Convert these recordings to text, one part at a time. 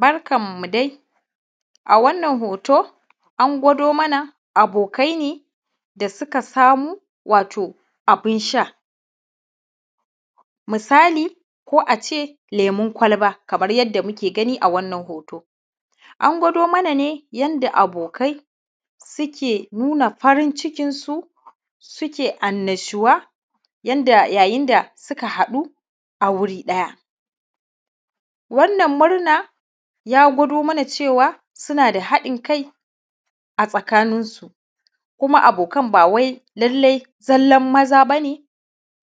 Barkan mu dai, a wannan hoto an gwado mana abokai ne, da suka samu wato abun sha. Misali ko a ce lemun kwalba, kamar yanda muke gani a wannan hoto. An gwado mana ne yanda abokai suke nuna farin cikinsu, suke annashuwa yanda yayin da suka hadu a wuri ɗaya. Wannan murna ya gwado mana cewa suna da haɗin kai a tsakanin su. Kuma abokan ba wai lalle zallan maza ba ne,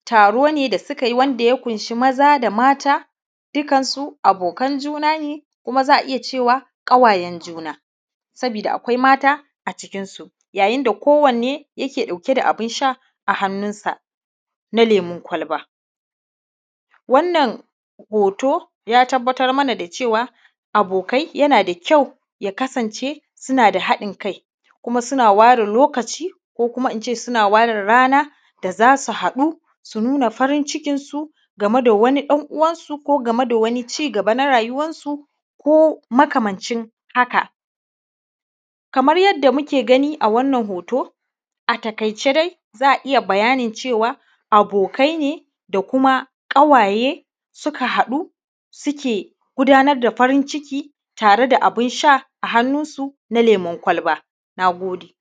taro ne da suka yi wanda ya ƙunshe maza da mata, dukansu abokan juna ne kumakuma za a iya cewa kawayen juna sabida akwai mata a cikinsu. Yayin da ko wanne yake ɗauke da a bun sha a hannunsa na lemun kwalba. Wannan hoto ya tabbatar mana da cewa abokai yana da kyau ya kasance suna da haɗin kai kuma suna ware lokaci ko kuma in ce suna ware rana da za su haɗu, su nuna farin cikinsi game da wani ɗan uwansu ko game da wani cigaba na rayuwarsu, ko makamancin haka. Kamar yanda muke gani a wannan hoto a taƙaice dai za mu iya bayanin cewa abokai ne da kuma kawaye, suka haɗu suke gudanar da farin ciki tare da abun sha na lemun kwaba. Na gode